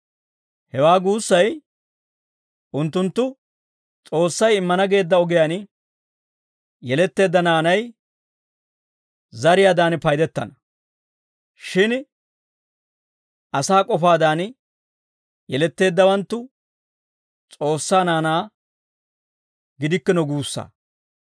Hewaa guussay unttunttu S'oossay immana geedda ogiyaan yeletteedda naanay zariyaadan paydettana; shin asaa k'ofaadan yeletteeddawanttu S'oossaa naanaa gidikkino guussaa.